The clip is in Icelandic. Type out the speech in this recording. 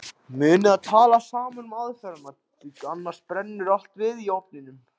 Munið að tala saman um aðferðina, því annars brennur allt við í ofninum.